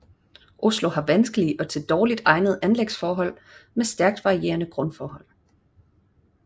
Oslo har vanskelige og til dårligt egnede anlægsforhold med stærkt varierende grundforhold